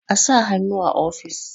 a sa hannu a ofis!